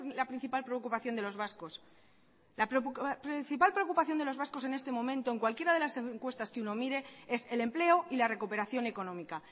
la principal preocupación de los vascos la principal preocupación de los vascos en estos momentos en cualquiera de las encuestas que uno mire es el empleo y la recuperación económica